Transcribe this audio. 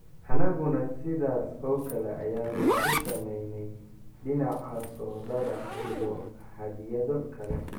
anaguna sidaas oo kale ayaanu ku samaynay dhinaca soodhada iyo hadyado kale.